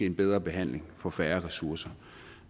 en bedre behandling for færre ressourcer